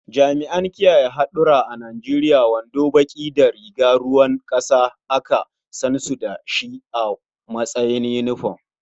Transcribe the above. Jami'an kiyaye haɗura a Nijeriya wando baƙi da riga ruwan ƙasa aka san su da shi a matsayin yunifom.